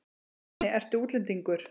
Manni, ertu útlendingur?